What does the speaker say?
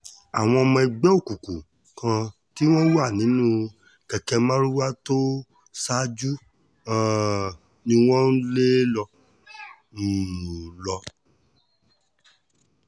àwọn ọmọ ẹgbẹ́ òkùnkùn kan tí wọ́n wà nínú kẹ̀kẹ́ marwa tó ṣáájú um ni wọ́n ń lé um lọ